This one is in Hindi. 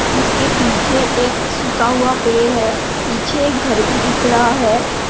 उसके पीछे एक सूखा हुआ पेड़ है पीछे एक घर भी दिख रहा है।